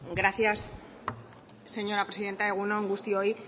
gracias señora presidenta egun on guztioi